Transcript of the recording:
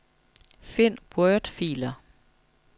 Find wordfiler.